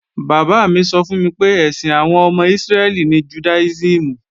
Bàbá mi sọ fún mi pé, ẹ̀sìn àwọn ọmọ Ísírẹ́lì ní Jùdáísìmù